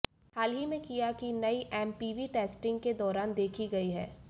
हाल ही में किया की नई एमपीवी टेस्टिंग के दौरान देखी गई है